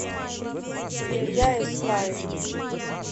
илья искаев